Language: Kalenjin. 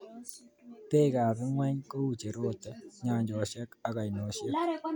Beekab ingony kou cherote, nyanjosiek, ak ainosiek